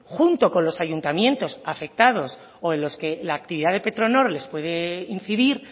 junto con los ayuntamientos afectados o en los que la actividad de petronor les puede incidir